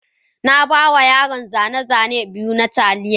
Na ba wa yaran zane-zane biyu na Taliya